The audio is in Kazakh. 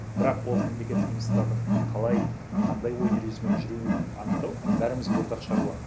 бірақ ол мемлекеттік институттардың қалай қандай ойын ережесімен жүруін анықтау бәрімізге ортақ шаруа